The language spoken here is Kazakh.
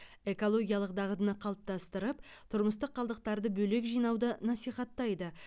экологиялық дағдыны қалыптастырып тұрмыстық қалдықтарды бөлек жинауды насихаттайды